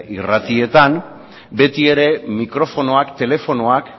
irratietan beti ere mikrofonoak telefonoak